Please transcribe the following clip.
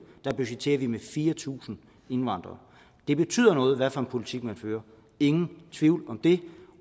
budgetterer vi med fire tusind indvandrere det betyder noget hvad for en politik man fører ingen tvivl om det